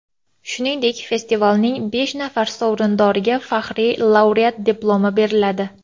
Shuningdek, festivalning besh nafar sovrindoriga faxriy laureat Diplomi beriladi.